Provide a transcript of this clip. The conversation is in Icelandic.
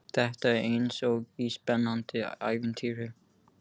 Þetta er eins og í spennandi ævintýri.